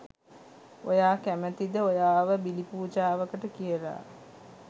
ඔයා කැමතිද ඔයාව බිලිපූජාවකට කියලා